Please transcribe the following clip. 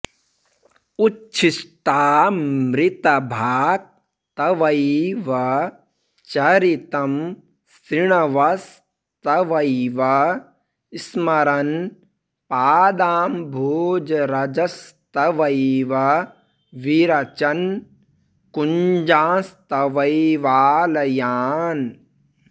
उच्छिष्टामृतभाक् तवैव चरितं शृण्वंस्तवैव स्मरन् पादाम्भोजरजस्तवैव विरचन् कुञ्जांस्तवैवालयान्